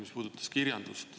Need puudutavad kirjandust.